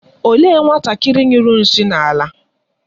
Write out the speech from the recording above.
Olee nwatakịrị nyụrụ nshị na-ala?